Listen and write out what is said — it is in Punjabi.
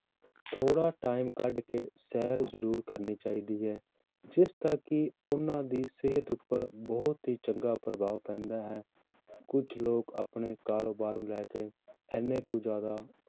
ਥੋੜ੍ਹਾ time ਕੱਢ ਕੇ ਸੈਰ ਜ਼ਰੂਰ ਕਰਨੀ ਚਾਹੀਦੀ ਹੈ, ਜਿਸ ਦਾ ਕਿ ਉਹਨਾਂ ਦੀ ਸਿਹਤ ਉੱਪਰ ਬਹੁਤ ਹੀ ਚੰਗਾ ਪ੍ਰਭਾਵ ਪੈਂਦਾ ਹੈ ਕੁਛ ਲੋਕ ਆਪਣੇ ਕਾਰੋਬਾਰ ਨੂੰ ਲੈ ਕੇ ਇੰਨੇ ਕੁ ਜ਼ਿਆਦਾ